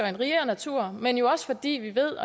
en rigere natur men jo også fordi vi ved